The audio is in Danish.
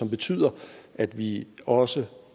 betyder at vi også